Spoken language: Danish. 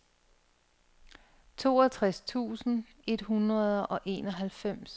toogtres tusind et hundrede og enoghalvfems